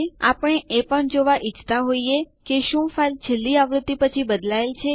ચાલો હવે ડીયુ આદેશ સાથે કેટલાક વિકલ્પો પ્રયાસ કરીએ